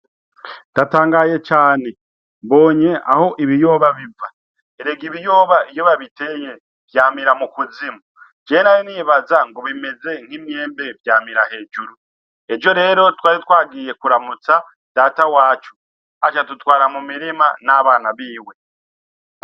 Ndatangaye cane! mbonye aho Ibiyoba biva. Erega Ibiyoba iyo babiteye vyamira mukuzimu je nari nibaza ngo bimeze nk’Imyembe vyamira hejuru, ejo rero twari twagiye kuramutsa Data wacu acadutwara mumirima n’abana biwe.